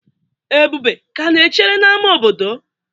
ebube ka na-echere n'ámá obodo?